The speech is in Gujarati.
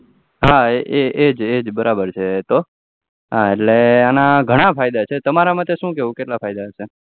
હા હા એજ એજ બરોબર છે તો એના ઘણા ફાયદા છે તમારા મતે શુ કેવું કેટલા ફાયદા છે